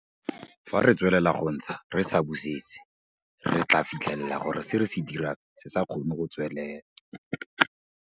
Fa re tswelela go ntsha re sa busetse, re tlaa fitlhela gore se re se dirang se sa kgone go tswelela.